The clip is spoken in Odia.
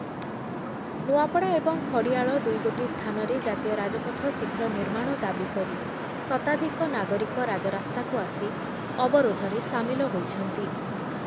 ନୂଆପଡ଼ା ଏବଂ ଖଡ଼ିଆଳ ଦୁଇ ଗୋଟି ସ୍ଥାନରେ ଜାତୀୟ ରାଜପଥ ଶୀଘ୍ର ନିର୍ମାଣ ଦାବୀ କରି ଶତାଧିକ ନାଗରିକ ରାଜରାସ୍ତାକୁ ଆସି ଅବରୁଦ୍ଧରେ ସାମିଲ ହୋଇଛନ୍ତି ।